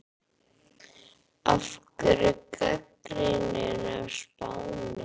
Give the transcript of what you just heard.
Af hverju gagnrýnin á Spáni?